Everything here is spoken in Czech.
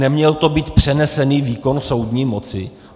Neměl to být přenesený výkon soudní moci?